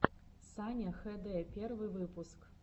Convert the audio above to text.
саня хд первый выпуск